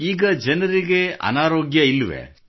ಈಗ ಜನರಿಗೆ ಅನಾರೋಗ್ಯವಿಲ್ಲವೇ